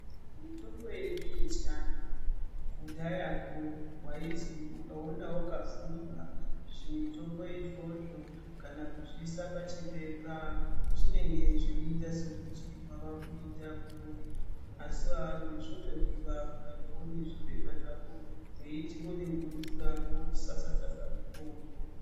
Mitombo yedu yechiantu kudhayako waizwi ukaona wakafumba zvimutombo izvozvo kana kuzviisa pachipepa zvinenge zveiita sekuti wavakuita huroyi. Asi vanhu zvotodiwa kuramba uine zvipepa zvako weiti wode kumwa mvura wosasa-sasa mutombo.